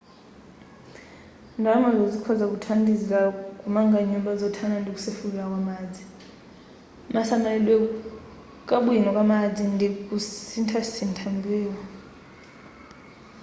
ndalamazo zikhoza kuthandizila kumanga nyumba zothana ndi kusefukira kwa madzi kasamalidwe kabwino kamadzi ndi kasinthasintha wambewu